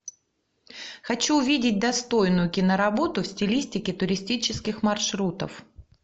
хочу увидеть достойную киноработу в стилистике туристических маршрутов